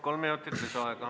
Kolm minutit lisaaega.